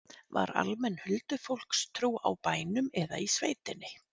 Var almenn huldufólkstrú á bænum eða í sveitinni?